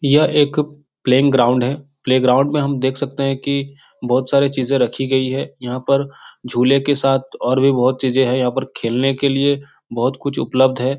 यह एक playing ground है। प्ले ग्राउंड मे हम देख सकते हैं कि बोहोत सारे चीजे रखी गई हैं। यहाँ पर झूले के साथ और भी बोहोत चीजे हैं। यहाँ खेलने के लिए बोहोत कुछ उपलब्ध है।